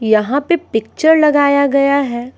यहां पे पिक्चर लगाया गया है।